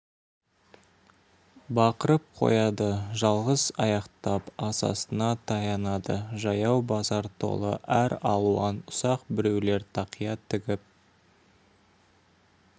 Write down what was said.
бақырып қояды жалғыз аяқтап асасына таянады жаяу базар толы әр алуан ұсақ біреулер тақия тігіп